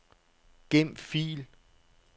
Gem fil.